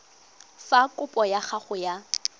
fa kopo ya gago ya